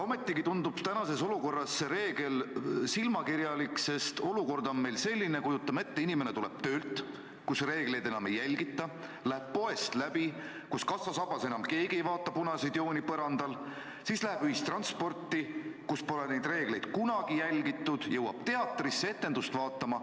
Ühtlasi tundub tänases olukorras see reegel silmakirjalik, sest olukord on meil selline – kujutame ette –, et inimene tuleb töölt, kus reegleid enam ei järgita, läheb läbi poest, kus kassasabas keegi enam ei vaata põrandal olevaid punaseid jooni, suundub ühistransporti, kus pole neid reegleid kunagi järgitud, ning jõuab teatrisse etendust vaatama.